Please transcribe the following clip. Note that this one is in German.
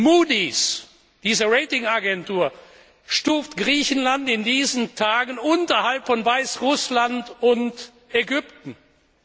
Moody's, diese Ratingagentur, stuft Griechenland in diesen Tagen unterhalb von Weißrussland und Ägypten ein.